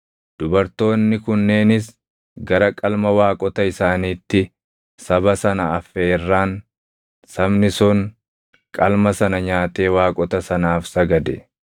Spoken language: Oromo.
Dubartoonni kunneenis gara qalma waaqota isaaniitti saba sana afeerraan, sabni sun qalma sana nyaatee waaqota sanaaf sagade.